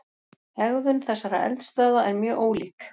Hegðun þessara eldstöðva er mjög ólík.